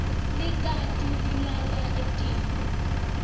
likati lilala etiko